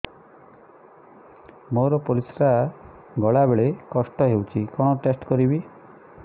ମୋର ପରିସ୍ରା ଗଲାବେଳେ କଷ୍ଟ ହଉଚି କଣ ଟେଷ୍ଟ କରିବି